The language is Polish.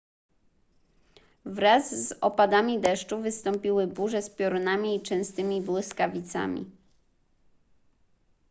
wraz z opadami deszczu wystąpiły burze z piorunami i częstymi błyskawicami